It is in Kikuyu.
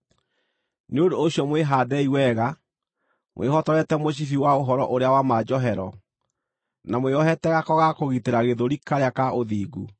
Nĩ ũndũ ũcio mwĩhaandei wega, mwĩhotorete mũcibi wa ũhoro ũrĩa wa ma njohero, na mwĩohete gako ga kũgitĩra gĩthũri karĩa ka ũthingu,